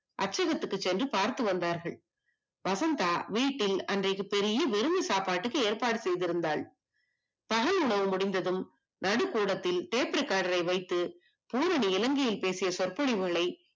அச்சகத்துக்கு சென்று பார்த்து வந்தார்கள். வசந்த வீட்டில் அன்றைக்கு பெரிய விருந்து சாப்பாட்டுக்கு ஏற்ப்பாடு செய்திருந்தால், பகல் உணவு முடிந்ததும் நடுக்கூடத்தில் tape recorder யை வைத்து பூரணி இலங்கையில் பேசிய சொற்பொழிவுகளை